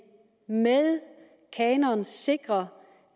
med kanonen sikrer